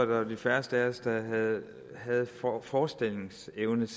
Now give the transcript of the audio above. var de færreste af os der havde forestillingsevne